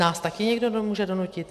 Nás taky někdo může donutit?